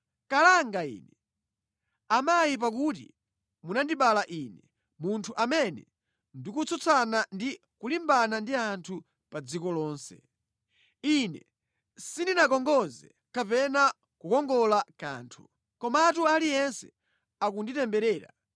Kalanga ine, amayi pakuti munandibereka ine, munthu amene ndikutsutsana ndi kulimbana ndi anthu pa dziko lonse! Ine sindinakongoze kapena kukongola kanthu, komatu aliyense akunditemberera.